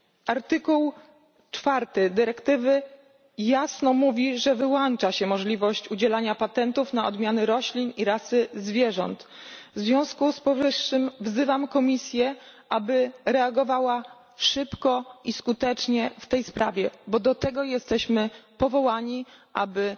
Artykuł 4 dyrektywy jasno mówi, że wyłącza się możliwość udzielania patentów na odmiany roślin i rasy zwierząt, w związku z tym wzywam Komisję, aby reagowała szybko i skutecznie w tej sprawie, bo do tego jesteśmy powołani, aby